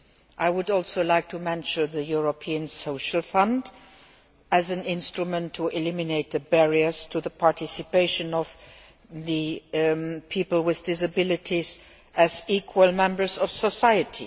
I would also like to mention the European Social Fund as an instrument to eliminate the barriers to the participation of people with disabilities as equal members of society.